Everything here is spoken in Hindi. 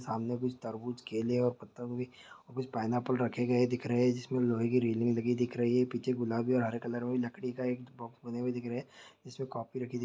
सामने कुछ तरबूज केले और पत्ता गोभी और कुछ पाईनएप्पल रखे गए दिख रहे जिसमें लोहे की रेलिंग लगी दिख रही पीछे गुलाबी और हरे कलर के लकड़ी की एक बॉक्स बना हुआ दिख रहा है जिसमे कॉपी रखी दिख --